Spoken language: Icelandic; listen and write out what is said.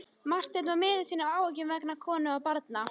Marteinn var miður sín af áhyggjum vegna konu og barna.